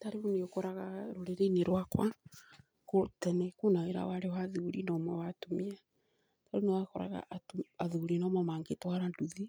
Ta rĩu nĩ ũkoraga rũrĩrĩ-inĩ rwakwa tene kwĩna wĩra warĩ wa athuri na ũmwe wa atumia, rĩu nĩ wakoraga athuri nomo mangĩ twara nduthi,